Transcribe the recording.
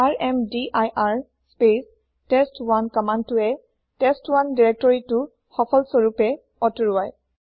ৰ্মদিৰ space test1 কমান্দটোৱে test1 দিৰেক্তৰিটো সফলস্বৰূপে অতৰোৱায়